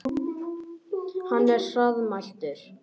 Hann er hraðmæltur.